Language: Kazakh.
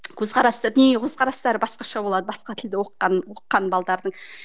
көзқарасты көзқарастары басқаша болады басқа тілді оқыған оқыған